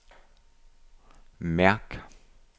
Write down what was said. mærk